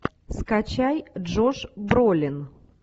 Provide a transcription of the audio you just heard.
скачай джош бролин